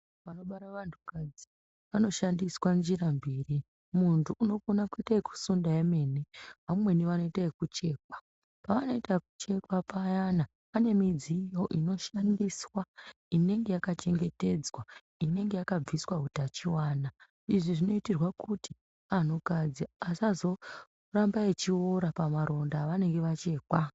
Panobara vantu kadzi panoshandiswa njira mbiri muntu unokona kuita yekusunda yemene vamweni vanoita yekuchekwa. Pavanoita kuchekwa ppayana pane midziyo inoshandiswa inenge yakachengetedzwa inenge yakabviswa hutachivana. Izvi zvinoitirwa kuti antukadzi vasazoramba vechiora pamaronda avanenge vechimwa.